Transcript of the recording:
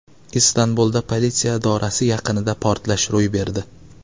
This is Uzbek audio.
Istanbulda politsiya idorasi yaqinida portlash ro‘y berdi.